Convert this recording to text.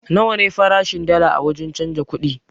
Nawa ne farashin dalla a wurin canza kuɗi?